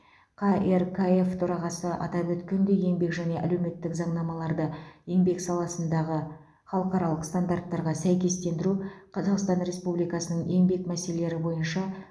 қркф төрағасы атап өткендей еңбек және әлеуметтік заңнамаларды еңбек саласындағы халықаралық стандарттарға сәйкестендіру қазақстан республикасының еңбек мәселелері бойынша